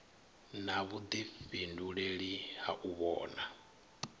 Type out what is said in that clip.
na vhuḓifhinduleli ha u vhona